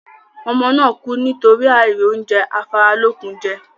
Ọmọ náà kú nítorí àìrí oúnjẹ afáralókun jẹ